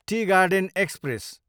T garden express